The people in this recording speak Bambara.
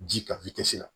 Ji ka la